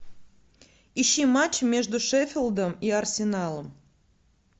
ищи матч между шеффилдом и арсеналом